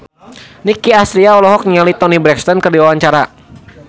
Nicky Astria olohok ningali Toni Brexton keur diwawancara